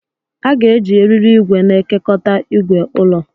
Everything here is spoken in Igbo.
A ga-eji eriri igwe na-ekekọta igwe ulọ.